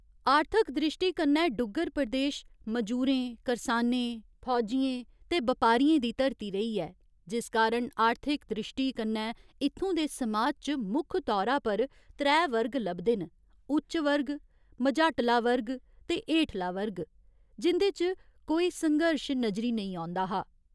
आर्थिक द्रिश्टी कन्नै डुग्गर प्रदेश मजूरें करसानें, फौजियें ते बपारियें दी धरती रेही ऐ जिस कारण आर्थिक द्रिश्टी कन्नै इत्थुं दे समाज च मुक्ख तौरा पर त्रै वर्ग लभदे न उच्च वर्ग, मझाटला वर्ग ते हेठला वर्ग, जिं'दे च कोई संघर्श नजरी नेईं औंदा हा।